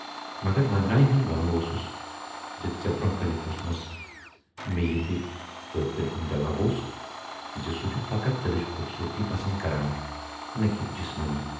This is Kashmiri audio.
مگر وندنایہِ ہُند ونُن اوسُس زِ ژیے برونہہ کنہِ پرُژھمَس مے یہِ تہِ تہٕ تمٔۍ سُند جواب اوس زِ سُہ چھُ فقط دِلٕچ خوبصوٗرتی پَسند کَران نہَ کہِ جِسمٲنی۔